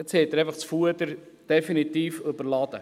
Jetzt haben Sie einfach das Fuder definitiv überladen!